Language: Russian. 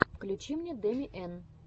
включи мне дами эн